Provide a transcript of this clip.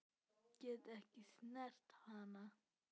Get ekki snert hana.